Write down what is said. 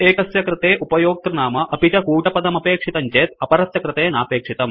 एकस्य कृते उपयोक्तृनाम अपि च कूटपदमपेक्षितं चेत् अपरस्य कृते नापेक्षितम्